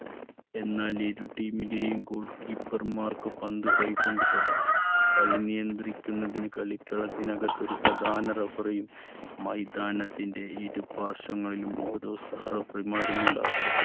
എന്നാൽ ഇരു team ലെയും goal keeper മാർക്ക് പന്ത് കൈ കൊണ്ട് തൊടാം. കളി നിയന്ത്രിക്കുന്നതിന് കളികളത്തിനകത്ത് ഒരു പ്രധാന referee യും മൈതാനത്തിന്റെ ഇരു പാർശ്വങ്ങളിലും ഓരോ സഹ referee മാരും ഉണ്ടാകും.